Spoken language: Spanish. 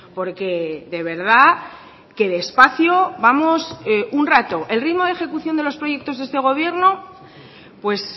porque de verdad que despacio vamos un rato el ritmo de ejecución de los proyectos de este gobierno pues